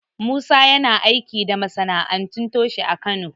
Musa yana aiki da masana'antu toshe a Kano.